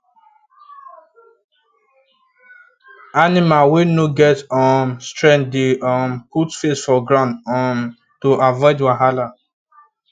animal wey no get um strength dey um put face for ground um to avoid wahala